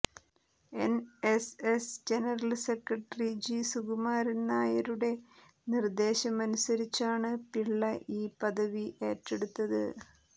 എന് S S general secretary G Sukumaran നായരുടെ നിര്ദേശമനുസരിച്ചാണ് പിള്ള ഈ പദവി ഏറ്റെടുത്തത്